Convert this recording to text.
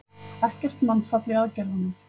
Ekkert mannfall í aðgerðunum